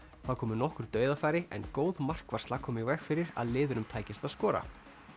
þá komu nokkur dauðafæri en góð markvarsla kom í veg fyrir að liðunum tækist að skora